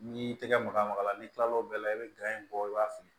N'i y'i tɛgɛ maga maga n'i kila l'o bɛɛ la i bɛ bɔ i b'a fili